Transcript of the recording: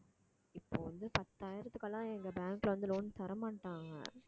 இப்போ வந்து பத்தாயிரத்துக்கெல்லாம் எங்க bank ல வந்து loan தரமாட்டாங்க